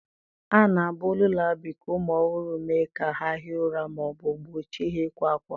A na-abụ Lullaby ka ụmụ ọhụrụ mee ka ha hie ụra ma ọ bụ gbochie ha ịkwa ákwá.